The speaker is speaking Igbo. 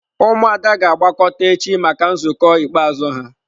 Ụmụada ga-agbakọta echi maka nzukọ ikpeazụ ha.